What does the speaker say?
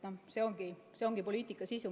See ongi poliitika sisu.